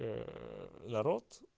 народ